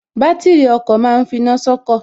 Bátìrì ọkọ̀ ma ń finá sọ́kọ̀